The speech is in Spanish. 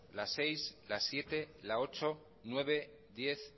la seis la siete la ocho nueve diez